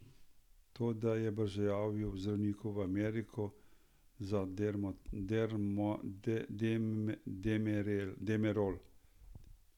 To, da je brzojavil zdravniku v Ameriko za demerol.